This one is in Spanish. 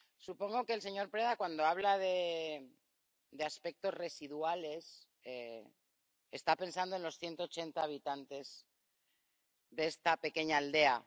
Supongo que el señor Preda, cuando habla de aspectos residuales, está pensando en los 180 habitantes de esta pequeña aldea.